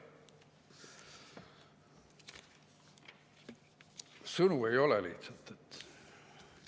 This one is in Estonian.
Sõnu ei ole lihtsalt!